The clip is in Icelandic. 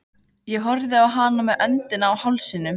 Ég horfði á hana með öndina í hálsinum.